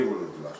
DJ-yi vururdular.